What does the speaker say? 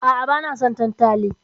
A'a, bana son tantali.